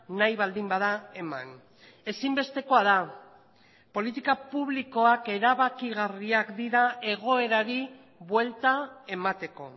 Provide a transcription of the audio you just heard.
nahi baldin bada eman ezinbestekoa da politika publikoak erabakigarriak dira egoerari buelta emateko